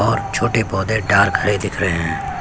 और छोटे पौधे डार्क हरे दिख रहे है।